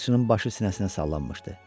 Balıqçının başı sinəsinə sallanmışdı.